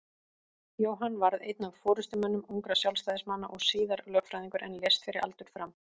Jóhann varð einn af forystumönnum ungra Sjálfstæðismanna og síðar lögfræðingur en lést fyrir aldur fram.